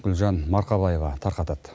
гүлжан марқабаева тарқатады